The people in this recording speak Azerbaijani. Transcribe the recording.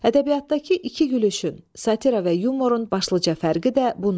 Ədəbiyyatdakı iki gülüşün, satira və yumorun başlıca fərqi də bundadır.